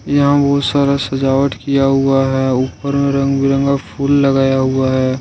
यहां बहोत सारा सजावट किया हुआ है ऊपर में रंग बिरंगा फूल लगाया हुआ है।